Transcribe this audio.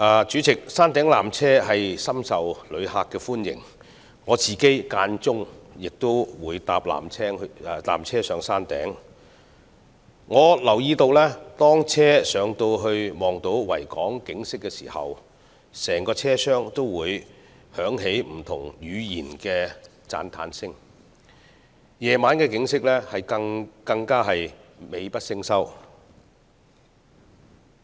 主席，山頂纜車深受旅客歡迎，我偶爾也會乘搭纜車前往山頂，並留意到每當纜車上到可看到整個維多利亞港的景色時，整個車廂會響起不同語言的讚嘆聲，夜景則更加是美不勝收。